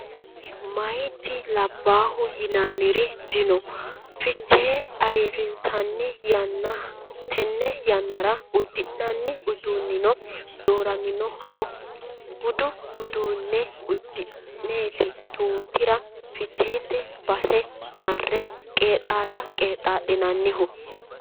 Meyati labbahu yinanniri dino fichee ayirrinsanni yanna tene yannara uddi'nanni uduunino dooraminoho budu uduune uddi'neti tutira ficheete base marre qeexxalla qeexxalinannihu.